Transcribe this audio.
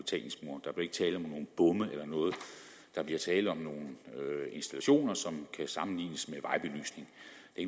bomme eller noget der bliver tale om nogle installationer som kan sammenlignes